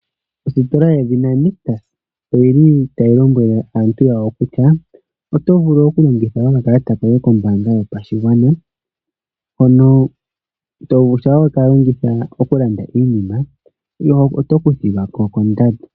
Ositola yedhina Nictus oyi li tayi lombwele aantu yawo kutya oto vulu okuningitha okakalata koye kombaanga yopashigwana hono shampa we ka longitha okulanda iinima, oto kuthilwa ko kondando.